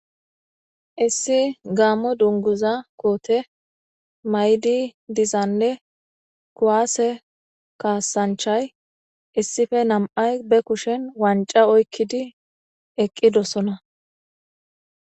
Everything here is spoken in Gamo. issi gaammo dunguza koote maydi dizanne kuwaase kaasanchay issife nam7ay be kushen wanca oykkidi eqqidosona